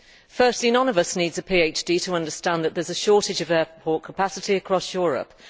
Firstly, none of us needs a PhD to understand that there is a shortage of airport capacity across Europe.